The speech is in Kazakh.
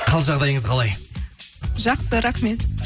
қал жағдайыңыз қалай жақсы рахмет